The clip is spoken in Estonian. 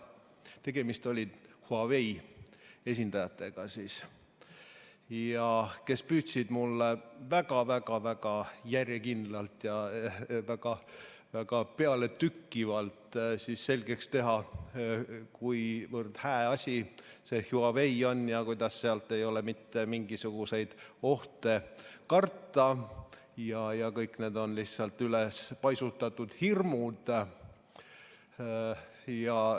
Tegemist oli Huawei esindajatega, kes püüdsid mulle väga-väga järjekindlalt ja väga-väga pealetükkivalt selgeks teha, kuivõrd hää asi see Huawei on, kuidas sealt ei ole mitte mingisuguseid ohte karta ja et kõik need on lihtsalt ülespaisutatud hirmud.